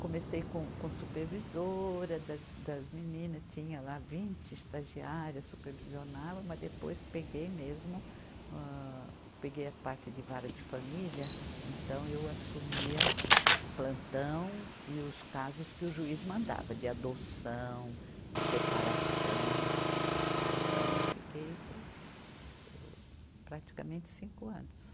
Comecei com, com supervisora das, das meninas, tinha lá vinte estagiárias, supervisionava, mas depois peguei mesmo, âh, peguei a parte de vara de família, então eu assumia o plantão e os casos que o juiz mandava de adoção, de separação, então eu fiquei isso, isso praticamente cinco anos.